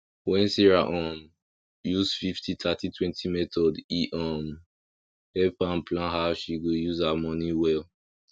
when sarah um use fifty thirty twenty method e um help am plan how she go use her money well